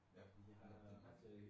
Ja på grund af retningen